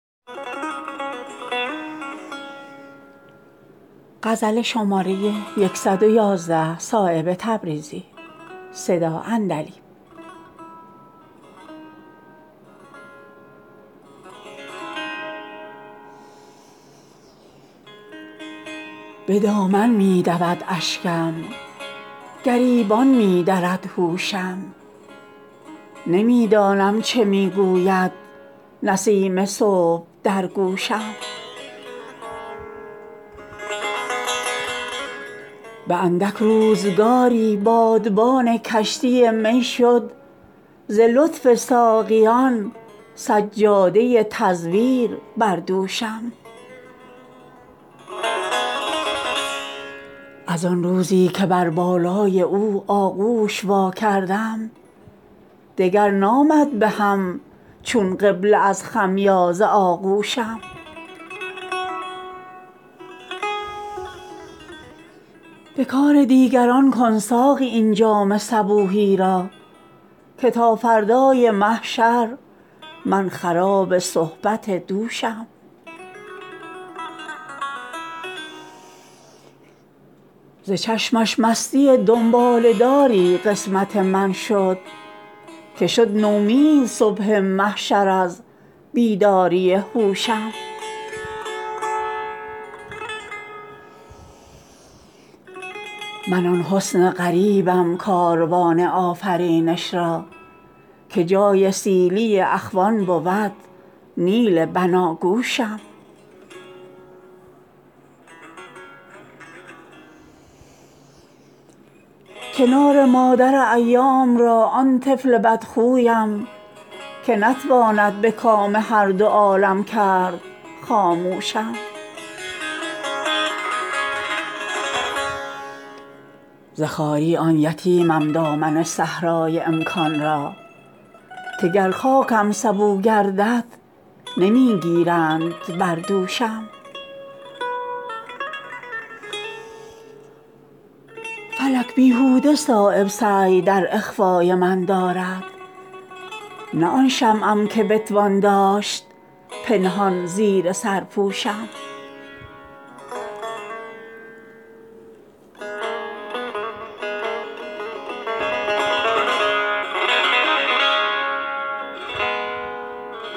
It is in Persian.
چنان برد اختیار از دست آن سرو قباپوشم که آید در نظرها خشک چون محراب آغوشم ز بوی خون دل نظارگی را آب می سازم به ظاهر چون لب تیغ از شکایت گرچه خاموشم جنون من شد از زخم زبان ناصحان افزون نه آن دریای پرشورم که بتوان کرد خس پوشم من آن حسن غریبم کاروان آفرینش را که جای سیلی اخوان بود نیل بناگوشم من از کم مایگی مهر خموشی بر دهن دارم من آن بحرم که گوهر در صدف شد آب از جوشم ز خواری آن یتیمم دامن صحرای امکان را که گر خاکم سبو گردد نمی گیرند بر دوشم فلک بیهوده صایب سعی در اخفای من دارد نه آن شمعم که بتوان داشت پنهان زیر سرپوشم